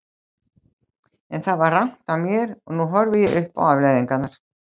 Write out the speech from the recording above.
En það var rangt af mér og nú horfi ég upp á afleiðingarnar.